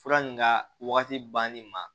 Fura nin ka wagati banni ma